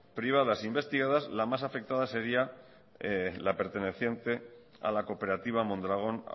privadas investigadas la más afectada sería la perteneciente a la cooperativa mondragón